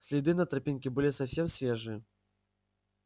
следы на тропинке были совсем свежие